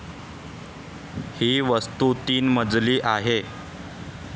ही वास्तू तीन मजली आहे